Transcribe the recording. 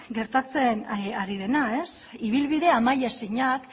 gertatzen ari dena ibilbide amai ezinak